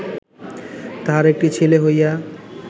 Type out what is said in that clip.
তাহার একটি ছেলে হইয়া